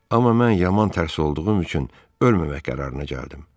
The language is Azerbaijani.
Amma mən yaman tərs olduğum üçün ölməmək qərarına gəldim.